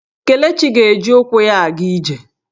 Kelechi ga-eji ụkwụ ya aga ije.